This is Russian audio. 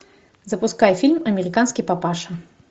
запускай фильм американский папаша